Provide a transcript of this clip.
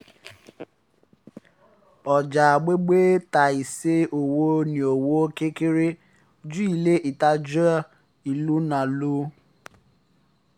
ọjà agbègbè ta iṣẹ́ ọwọ́ ní owó kékeré ju ilé ìtajà ìlú ńlá lọ